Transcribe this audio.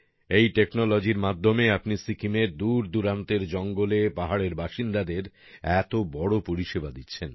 এই টেকনোলজির মাধ্যমে আপনি সিকিমের দূর দূরান্তের জঙ্গলে পাহাড়ের বাসিন্দাদের এত বড় পরিষেবা দিচ্ছেন